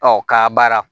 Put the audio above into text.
Ɔ k'a baara